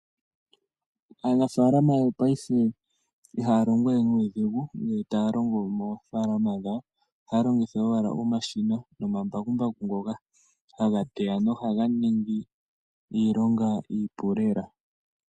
Aanafalama yopaife ihaya longo we nuudhigu, nge taya longo moofalama dhawo, ohaya longitha owala omashina nomambakumbaku ngoka haga teya nohaga ningi iilonga iipu lela.